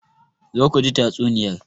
Zo ku ji tatsuniyar.